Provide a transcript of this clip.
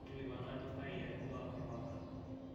kilikuana ajo kai etipika orpanga